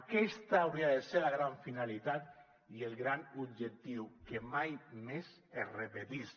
aquesta hauria de ser la gran finalitat i el gran objectiu que mai més es repetís